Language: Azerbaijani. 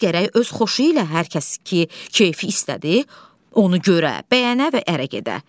Qız gərək öz xoşu ilə hər kəs ki, keyfi istədi, onu görə, bəyənə və ərə gedə.